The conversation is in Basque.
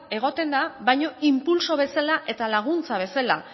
egoten da baina inpultso bezala eta laguntza bezala